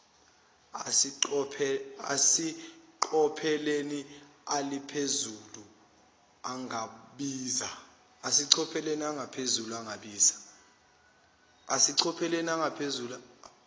aseqophelweni aliphezulu angabiza